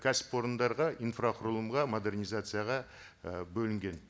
кәсіпорындарға инфрақұрылымға модернизацияға і бөлінген